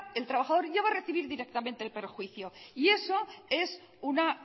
el trabajador ya va a recibir directamente el perjuicio y eso es una